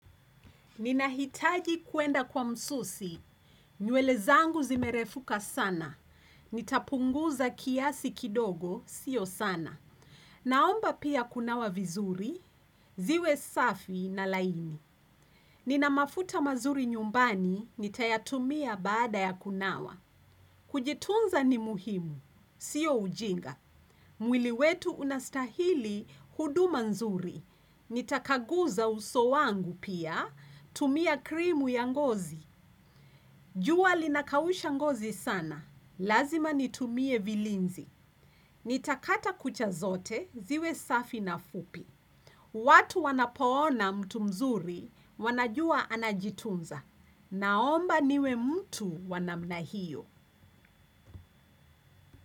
Ninahitaji kuenda kwa msusi. Nywele zangu zimerefuka sana. Nitapunguza kiasi kidogo sio sana. Naomba pia kunawa vizuri, ziwe safi na laini. Nina mafuta mazuri nyumbani nitayatumia baada ya kunawa. Kujitunza ni muhimu. Sio ujinga. Mwili wetu unastahili huduma nzuri. Nitakaguza uso wangu pia. Tumia krimu ya ngozi. Jua linakausha ngozi sana. Lazima nitumie vilinzi. Nitakata kucha zote ziwe safi na fupi. Watu wanapoona mtu mzuri wanajua anajitunza. Naomba niwe mtu wa namna hiyo.